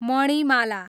Manimala